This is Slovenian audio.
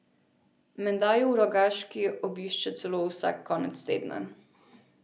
Menda ju v Rogaški obišče celo vsak konec tedna.